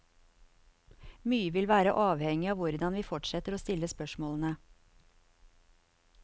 Mye vil være avhengig av hvordan vi fortsetter å stille spørsmålene.